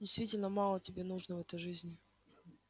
действительно мало тебе нужно в этой жизни